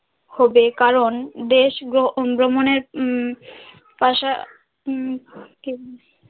হবে কারণ দেশ ভ্রমনের উম পাশা উম